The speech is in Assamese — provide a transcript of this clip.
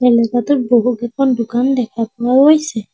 এলেকাটোত বহুকেইখন দোকান দেখা পোৱা গৈছে।